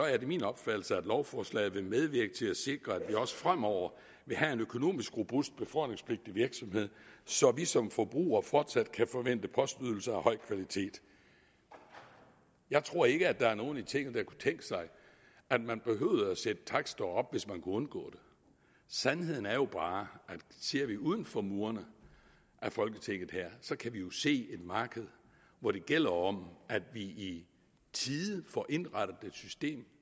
er min opfattelse at lovforslaget vil medvirke til at sikre at vi også fremover vil have en økonomisk robust befordringspligtig virksomhed så vi som forbrugere fortsat kan forvente postydelser af høj kvalitet jeg tror ikke at der er nogen i tinget der kunne tænke sig at man satte takster op hvis man kunne undgå det sandheden er jo bare at ser vi uden for murene af folketinget her kan vi jo se et marked hvor det gælder om at vi i tide får indrettet et system